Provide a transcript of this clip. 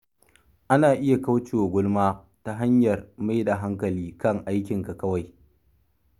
Ana iya kauce wa gulma ta hanyar mai da hankali kan aikinka kawai.